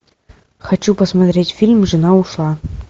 хочу посмотреть фильм жена ушла